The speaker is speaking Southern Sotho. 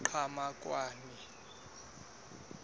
qhamakwane